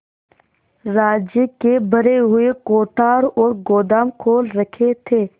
राज्य के भरे हुए कोठार और गोदाम खोल रखे थे